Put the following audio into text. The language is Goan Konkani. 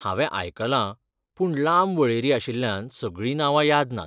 हांवें आयकलां, पूण लांब वळेरी आशिल्ल्यान सगळीं नांवां याद नात.